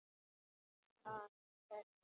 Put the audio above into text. Leita að hverju?